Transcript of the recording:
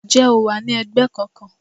Ǹjẹ́ o wà ní ẹgbẹ́ kankan?